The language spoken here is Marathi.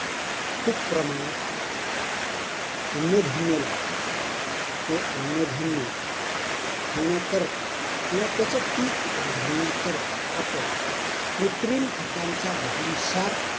खूप प्रमाणात अन्नधान्य लागत आहे. ते अन्नधान्य वाढवण्याकरता किंवा त्याच पीक वाढवण्याकरता आपण कृत्रिम खतांचा भरमसाठ